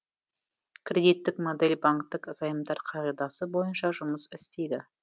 кредиттік модель банктік займдар қағидасы бойынша жұмыс істейді